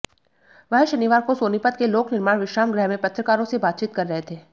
वह शनिवार को सोनीपत के लोकनिर्माण विश्राम गृह में पत्रकारों से बातचीत कर रहे थे